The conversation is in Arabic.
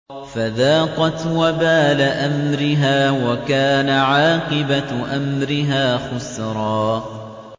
فَذَاقَتْ وَبَالَ أَمْرِهَا وَكَانَ عَاقِبَةُ أَمْرِهَا خُسْرًا